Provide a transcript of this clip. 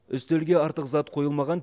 үстелге артық зат қойылмаған